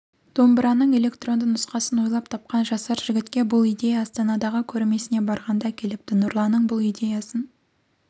домбыраның электронды нұсқасын ойлап тапқан жасар жігітке бұл идея астанадағы көрмесіне барғанда келіпті нұрланның бұл идеясын